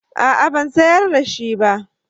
A'a ban sayar da shi ba